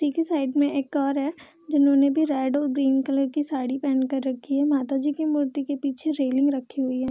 के साइड में एक और है जिन्होंने भी रेड और ग्रीन कलर की साड़ी पहन कर रखी है माता जी के मूर्ति के पीछे रैलिंग रखी हुई है।